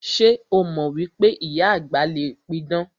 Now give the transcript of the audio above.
Ṣé o mọ wípé ìyá àgbà le pidàn?